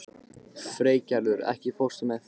Freygerður, ekki fórstu með þeim?